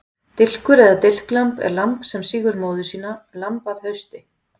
Dilkur eða dilklamb er lamb sem sýgur móður sína, lamb að hausti.